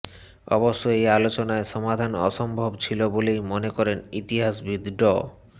অবশ্য এই আলোচনায় সমাধান অসম্ভব ছিলো বলেই মনে করেন ইতিহাসবিদ ড